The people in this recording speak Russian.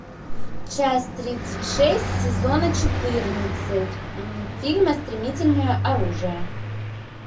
часть тридцать шесть сезона четырнадцать фильма стремительное оружие